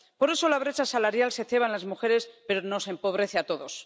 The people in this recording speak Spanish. Por eso, la brecha salarial se ceba en las mujeres, pero nos empobrece a todos.